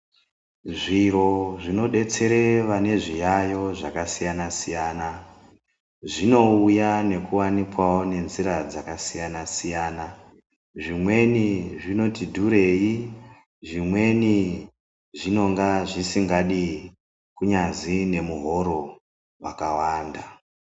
Zviro zvinodetsere vane zviyayo zvakasiyana-siyana, zvinouya nekuwanikwawo nenzira dzakasiyana-siyana, zvimweni zvinoti dhurei, zvimwedi zvinonga zvisikadi kunyazwi nemuhoro wakawanda.